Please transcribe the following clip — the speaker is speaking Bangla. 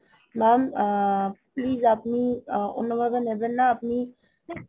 mam আ~ please আপনি অন্য ভাবে নিবেন না আপনি